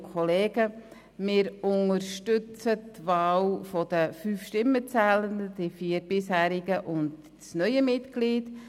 Wir unterstützen die Wahl der fünf Stimmenzählenden, jene der vier bisherigen und jene des neuen Mitglieds.